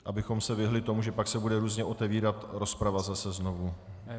Abychom se vyhnuli tomu, že pak se bude různě otevírat rozprava zase znovu.